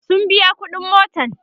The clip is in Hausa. sun biya ƙuɗin motan